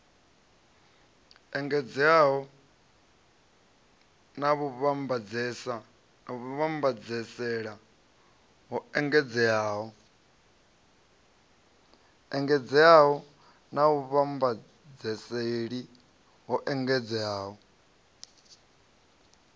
engedzeaho na vhuvhambadzaseli ho engedzeaho